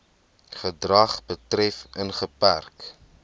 gedrag betref ingeperk